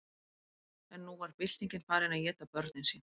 en nú var byltingin farin að éta börnin sín